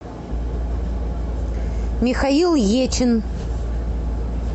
михаил ечин